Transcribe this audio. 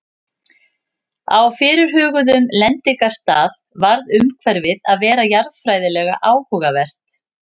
Á fyrirhuguðum lendingarstað varð umhverfið að vera jarðfræðilega áhugavert.